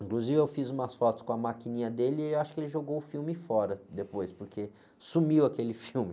Inclusive eu fiz umas fotos com a maquininha dele e eu acho que ele jogou o filme fora depois, porque sumiu aquele filme.